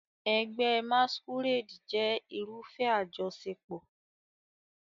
Ẹgbẹ́ Masquerade jẹ́ irúfẹ́ àjọṣepọ̀.